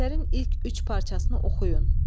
Əsərin ilk üç parçasını oxuyun.